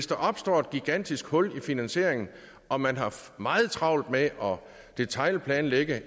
kan opstå et gigantisk hul i finansieringen og man har meget travlt med at detailplanlægge